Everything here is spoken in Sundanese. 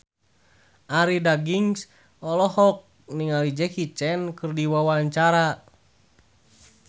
Arie Daginks olohok ningali Jackie Chan keur diwawancara